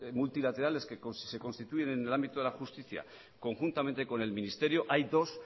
multilaterales que se constituyen en el ámbito de la justicia conjuntamente con el ministerio hay dos